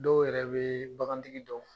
Dɔw yɛrɛ bɛ bagan tigi dɔn